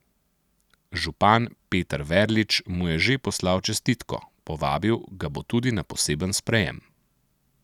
Župan Peter Verlič mu je že poslal čestitko, povabil ga bo tudi na poseben sprejem.